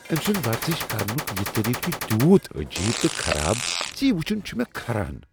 أمۍ سُند ورزش کرنک یہ طریقہٕ چھ تیُوت عجیب تہٕ خراب ز یہ وٕچھن چھ کھران۔